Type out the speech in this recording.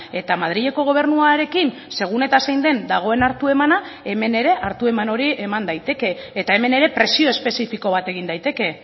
eta madrileko gobernuarekin segun eta zein den dagoen hartu emana hemen ere hartu eman hori eman daiteke eta hemen ere presio espezifiko bat egin daiteke